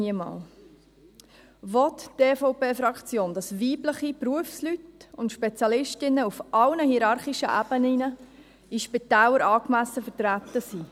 Will die EVP-Fraktion, dass weibliche Berufsleute und Spezialistinnen auf allen hierarchischen Ebenen in den Spitälern angemessen vertreten sind?